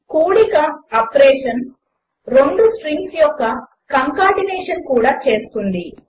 కూడిక ఆప్రేషన్ రెండు స్ట్రింగ్స్ యొక్క కంకాటినేషన్ కూడా చేస్తుంది